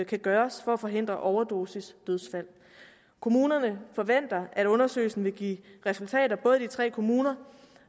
kan gøres for at forhindre overdosisdødsfald kommunerne forventer at undersøgelsen vil give resultater både i de tre kommuner